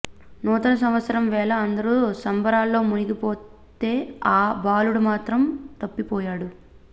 నూతన సంవత్సరం వేళ అందరూ సంబరాల్లో మునిగిపోతే ఆ బాలుడు మాత్రం తప్పిపోయాడు